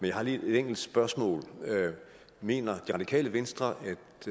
jeg har lige et enkelt spørgsmål mener det radikale venstre